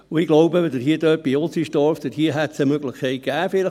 Ich glaube, bei Utzenstorf hätte es vielleicht eine Möglichkeit gegeben;